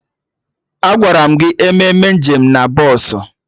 Agwaram gị emena nje m na bọsụ!